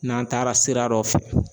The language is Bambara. N'an taara sira dɔ fɛ